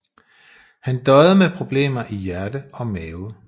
Han døjede med problemer i hjerte og mave